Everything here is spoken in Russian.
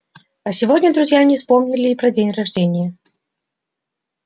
а сегодня друзья не вспомнили и про день рождения